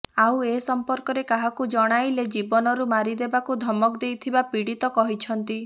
ଆଉ ଏ ସମ୍ପର୍କରେ କାହାକୁ ଜଣାଇଲେ ଜୀବନରୁ ମାରି ଦେବାକୁ ଧମକ ଦେଇଥିବା ପୀଡ଼ିତ କହିଛନ୍ତି